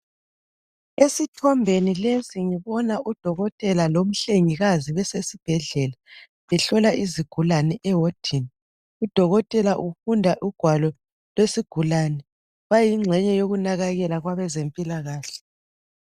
Udokotela lomhlengikazi esibhedlela bahlola izigulane ewadini. Udokotela ufunda ugwalo lwesigulane. Bayingxenye yokunakekela kwabezempilakahle.